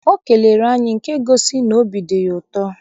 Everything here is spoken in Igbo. O kelere anyị nke gosiri n'obi dị ya ụtọ.